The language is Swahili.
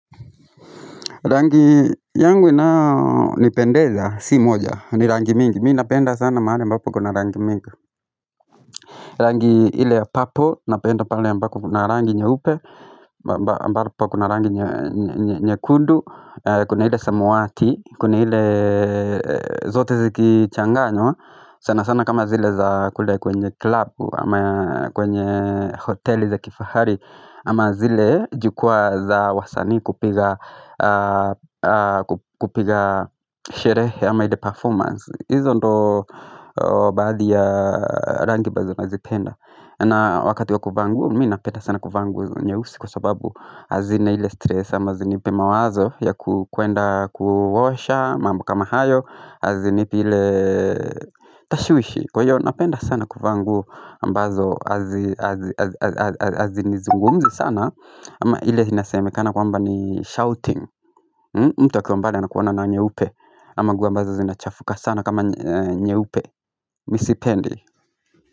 Rangi yangu ni pendeza, si moja, ni rangi mingi. Mi napenda sana mahali mbapo kuna rangi mingi. Rangi ile ya purple, napenda pali mbapo kuna rangi nyeupe, ambapo kuna rangi nye kundu, kuna ile samuati, kuna ile zote ziki changa nywa. Sana sana kama zile za kule kwenye club, kwenye hoteli za kifahari ama zile jukua za wasani kupiga sherehe ama ile performance izo ndo baadhi ya rangi baadhi nazipenda na wakati ya kuvaa nguo, mina peta sana kuvangu nye usi kwa sababu Azina ile stress ama zini pema wazo ya kuenda kuowasha, mambu kama hayo hazi nipile tashuwishi kwa hiyo napenda sana kufangu ambazo hazi nizungumzi sana ama hile sinaseme kana kwamba ni shouting mtu wa kwa mbale anakuona na nyeupe ama guwa ambazo zinachafuka sana kama nye upe misipendi.